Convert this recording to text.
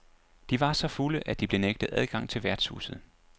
De var så fulde, at de blev nægtet adgang til værtshuset.